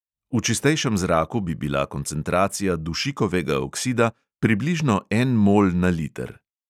V čistejšem zraku bi bila koncentracija dušikovega oksida približno en mol na liter.